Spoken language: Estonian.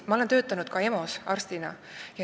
Ma olen töötanud ka EMO-s arstina.